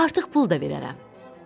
Artıq pul da verərəm.